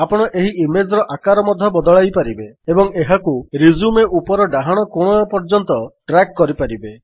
ଆପଣ ଏହି ଇମେଜ୍ ର ଆକାର ମଧ୍ୟ ବଦଳାଇପାରିବେ ଏବଂ ଏହାକୁ ରିଜ୍ୟୁମ ଉପର ଡାହାଣ କୋଣ ପର୍ଯ୍ୟନ୍ତ ଡ୍ରାଗ୍ କରିପାରିବେ